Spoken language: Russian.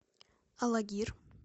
алагир